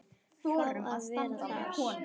Fá að vera þar.